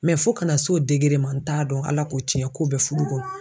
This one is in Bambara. fo ka n'a se o ma n t'a dɔn Ala ko cɛn k'o bɛ fudu kɔnɔ.